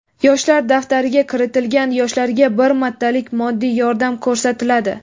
"Yoshlar daftari"ga kiritilgan yoshlarga bir martalik moddiy yordam ko‘rsatiladi.